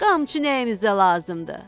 Qamçı nəyimizə lazımdı?